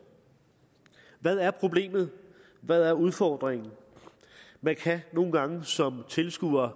hvad er problemet hvad er udfordringen man kan nogle gange som tilskuer